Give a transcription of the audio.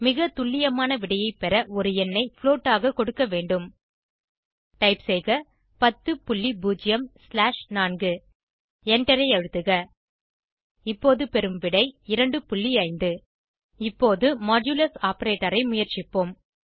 மிக துல்லியமான விடையை பெற ஒரு எண்ணை புளோட் ஆக கொடுக்க வேண்டும் டைப் செய்க 100 ஸ்லாஷ் 4 எண்டரை அழுத்துக இப்போது பெறும் விடை 25 இப்போது மாடுலஸ் ஆப்பரேட்டர் ஐ முயற்சிப்போம்